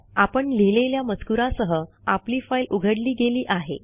आपण लिहिलेल्या मजकुरासह आपली फाईल उघडली गेली आहे